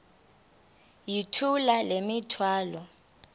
yithula le mithwalo